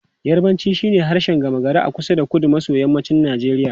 Yarbanci shine harshen gama gari a kusa da kudu maso yammacin Najeriya.